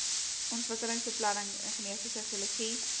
ontwikkelingsbeplanning ingenieurswese geologie